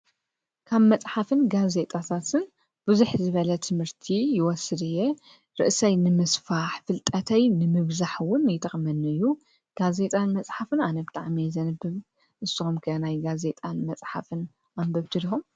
ካብ መፅሓፍን ጋዜጣታትን ብዝሕ ዝበለ ትምርቲ ይወስድ እየ ርእሰይ ንምስፋሕ ፣ ፍልጠተይ ንምብዛሕ ውን ይጠቕመኒ እዩ ። ጋዜጣን መፅሓፍን ኣነ ብጣዕሚ እየ ዘንብብ። ንስኩም ከ ናይ ጋዜጣን መፅሓፍን ኣንበብቲ ዲኩም?